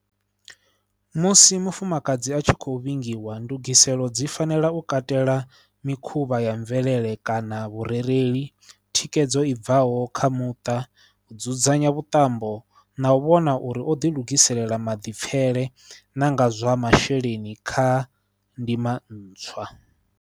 Musi mufumakadzi a tshi khou vhingiwa ndugiselo dzi fanela u katela mikhuvha ya mvelele kana vhurereli, thikhedzo i bvaho kha muṱa, u dzudzanya vhuṱambo na u vhona uri o ḓilugiselela maḓipfele na nga zwa masheleni kha ndima ntswa.